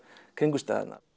kringumstæðurnar